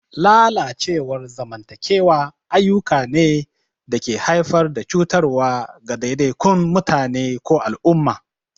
Lalacewar zamantakewa ayyuka ne da ke haifar da cutarwa ga ɗaiɗaikun mutane ko al'umma.